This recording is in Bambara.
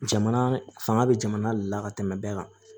Jamana fanga bɛ jamana de la ka tɛmɛ bɛɛ kan